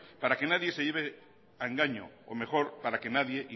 para que nadie se lleve a engaño o mejor para que nadie